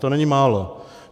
To není málo.